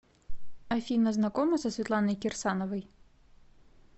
афина знакома со светланой кирсановой